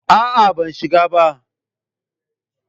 A'a, ban shiga ba.